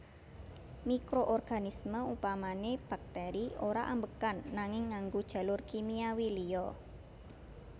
Mikroorganisme upamané bakteri ora ambegan nanging ngganggo jalur kimiawi liya